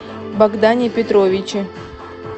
богдане петровиче